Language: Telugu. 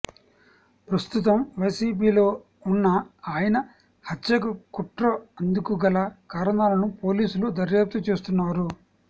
ప్రస్తుతం వైసీపీలో ఉన్న ఆయన హత్యకు కుట్ర అందుకు గల కారణాలను పోలీసులు దర్యాప్తు చేస్తున్నారు